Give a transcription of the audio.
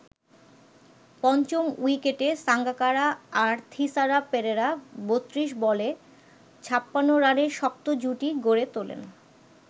পঞ্চম উইকেটে সাঙ্গাকারা আর থিসারা পেরেরা ৩২ বলে ৫৬ রানের শক্ত জুটি গড়ে তোলেন।